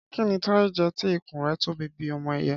Kí ni Táyé jẹ tí ìkún rẹ̀ tóbi bíi ti ọmọ ẹyẹ?